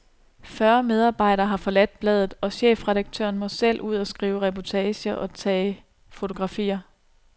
Fyrre medarbejdere har forladt bladet, og chefredaktøren må selv ud og skrive reportager og tage fotografier.